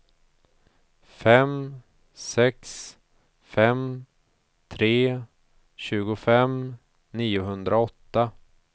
fem sex fem tre tjugofem niohundraåtta